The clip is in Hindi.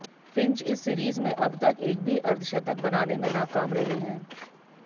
फिंच इस सीरीज में अब तक एक भी अर्धशतक बनाने में नाकाम रहे हैं